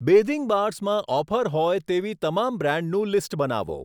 Bathing bars માં offer હોય તેવી તમામ બ્રાન્ડનું લિસ્ટ બનાવો.